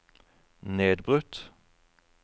nedbrutt